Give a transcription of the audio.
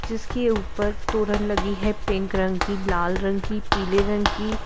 जिसके ऊपर तोरण लगी है पिंक रंग की लाल रंग की पीले रंग की।